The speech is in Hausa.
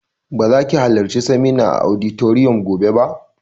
Ba za ki halarci seminar a auditorium gobe ba!